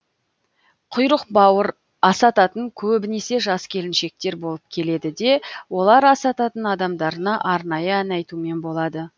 құйрық бауыр асататын көбінесе жас келіншектер болып келеді де олар асататын адамдарына арнайы ән айтумен болады